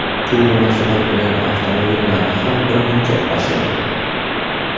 Shu munosabati bilan avtomobil narxi ham birmuncha oshadi.